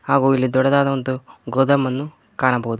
ಹಾಗು ಇಲ್ಲಿ ದೊಡ್ಡದಾದ ಒಂದು ಗೋದಾಮನ್ನು ಕಾಣಬಹುದು.